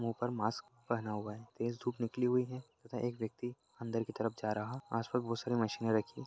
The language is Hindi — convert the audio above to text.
मुंह पर मास्क पहना हुआ है तेज धूप निकली हुई है तथा एक व्यक्ति अंदर की तरफ जा रहा है आस-पास बहोत सारी मशीने रखी----